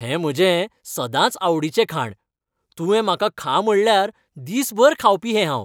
हें म्हजें सदांचआवडीचें खाण, तुंवें म्हाका खा म्हणल्यार, दिसभर खावपी हें हांव.